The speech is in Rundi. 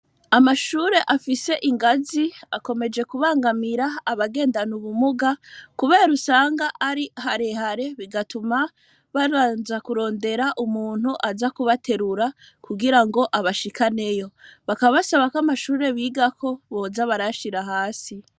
Amashure afise ingazi, akomeje kubangamira abagendana ubumuga, kubera usanga ari harehare bigatuma babanza kurondera umuntu aza kubaterura kugirango abashikaneyo, bakaba basaba ko amashure bigako boza barayashira hasi.